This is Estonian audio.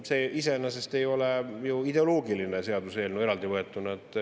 See iseenesest ei ole ju eraldi võetuna ideoloogiline seaduseelnõu.